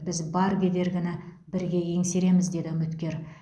біз бар кедергіні бірге еңсереміз деді үміткер